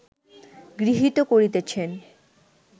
গৃহীত করিতেছেন